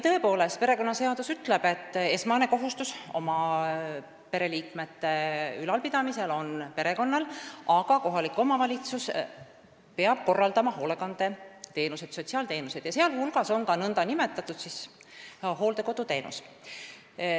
Tõepoolest, perekonnaseadus ütleb, et esmane kohustus oma pereliikmeid ülal pidada on perekonnal, aga kohalik omavalitsus peab siiski korraldama hoolekandeteenuseid, sotsiaalteenuseid, sh nn hooldekoduteenust.